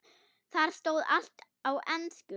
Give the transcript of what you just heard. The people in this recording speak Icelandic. Þar stóð allt á ensku.